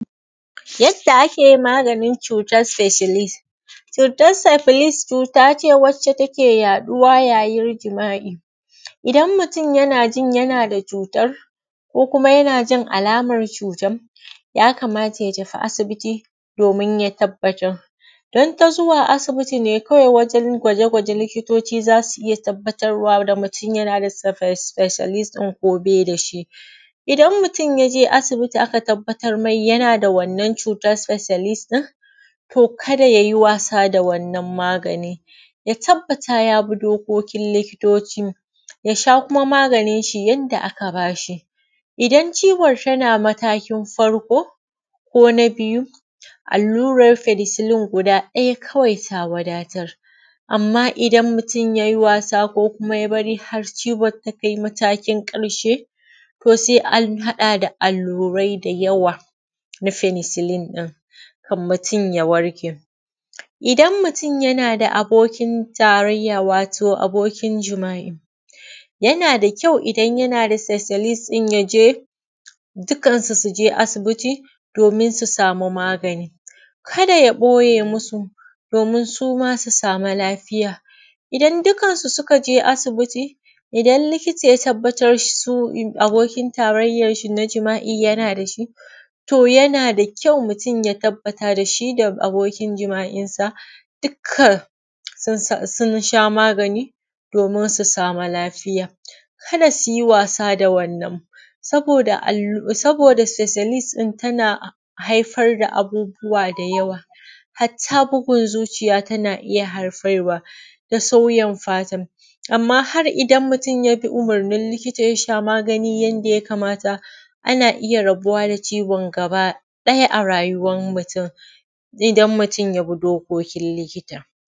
Yadda ake maganin cutar Sesiilis, cutar sefilis cuta ne wadda take yaɗuwa yayin jima’i. Idan mutum yana jin yana da cuyar, ko kuma yana jin alamar cutar. Yakamata ya tafi asibiti domin ya tabbatar. Don ta zuwa asiniti ne kawai wajen gwaje-gwaje likitoci za su iya tabbatarwa da mutum yana da fefilis ɗin ko ba shi da shi. Idan mutum ya je asibiti aka tabbatar yana da wannan cutar fissalis ɗin. to kada yay i wasa da wannan maganin ya tabbata ya bi dokokin likitoci, ya sha kuma maganin shi yadda aka ba shi, idan ciwon yana matakin karko ko na biyu, allurer fenesilin guda ɗaya kawai ta wadatar. Amma idan mutum yay i wasa ko kuma ya bari har ciwon ta kai matakin ƙarshe, to sai an haɗa da allurai da yawa na fenisilin ɗin kan mutum ya warke. Idan mutum yana da abokin tarayya wato abokin jima’i, yana da kyau idan yana da sesilis ya je, dukkansu su je asibiti domin su sami magani, kada ya ɓoye masu domin su ma su sami lafiya. Idan dukansu suka je asibi, idan likita ya tabbatar su abokin tarayyan shin a jima’I yana da shi. To yana da kyau mutum ya tabbata da shi da abokin jima’insa dukka sun sha magani domin su samu lafiya. Kada su yi wasa da wannan, saboda alluran saboda sesilis ɗin tana haifar da abubuwa da yawa. Hatta bugun zuciya abin yana iya haifarwa. amma har idan mutum ya bi umurnin likita ya sha magani yadda yakamata, ana iya rabuwa da ciwon gaba ɗaya a rayuwan mutum idan mutum ya bi dokokin likita.